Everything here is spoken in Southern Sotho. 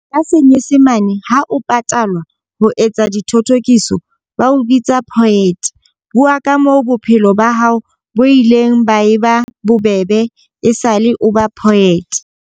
Ka senyesemane ha o patalwa ho etsa dithothokiso, ba o bitsa poet. Bua ka moo bophelo ba hao bo ileng ba e ba bobebe e sale o ba poet.